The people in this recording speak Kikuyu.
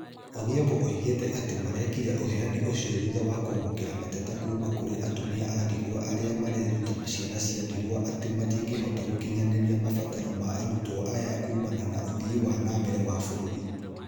Odhiambo oigite ati arekire uheani ucio thutha wa kwamukira mateta kuuma kuri atumia a ndigwa na atumia a ndigwa aria mareruta ciana cia ndigwa ati matingihota gukinyaniria mabataro ma arutwo aya kuumana na uthii wanambere wa bururi.